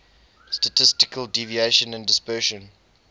statistical deviation and dispersion